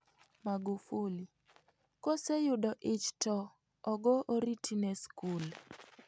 Magufuli: koseyudo ich to ogo oriti ne skul